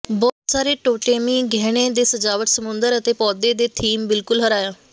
ਬਹੁਤ ਸਾਰੇ ਟੋਟੇਮੀ ਗਹਿਣੇ ਦੇ ਸਜਾਵਟ ਸਮੁੰਦਰ ਅਤੇ ਪੌਦੇ ਦੇ ਥੀਮ ਬਿਲਕੁਲ ਹਰਾਇਆ